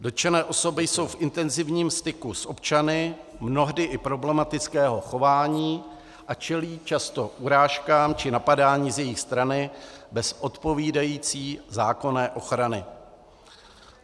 Dotčené osoby jsou v intenzivním styku s občany mnohdy i problematického chování a čelí často urážkám či napadání z jejich strany, bez odpovídající zákonné ochrany.